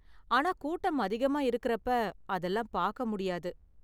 ஆனா கூட்டம் அதிகமா இருக்கறப்ப, அதெல்லாம் பாக்க முடியாது.